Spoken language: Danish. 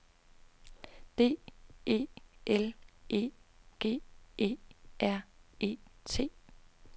D E L E G E R E T